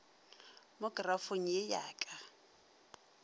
mo kerafong ye ya ka